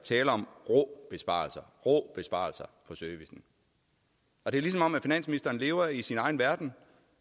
tale om rå besparelser rå besparelser på servicen det er ligesom om at finansministeren lever i sin egen verden